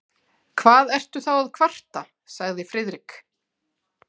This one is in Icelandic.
Hvað ertu þá að kvarta? sagði Friðrik.